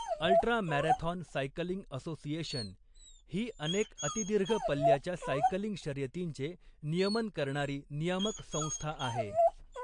Ultra marathon cycling association' ही अनेक अतिदीर्घ पल्ल्याच्या सायकलिंग शर्यतींचे नियमन करणारी नियामक संस्था आहे.